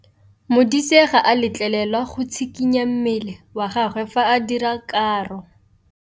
Modise ga a letlelelwa go tshikinya mmele wa gagwe fa ba dira karô.